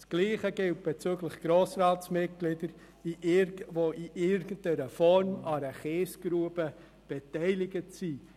Das Gleiche gilt für Grossratsmitglieder, die in irgendeiner Form an einer Kiesgrube beteiligt sind.